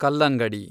ಕಲ್ಲಂಗಡಿ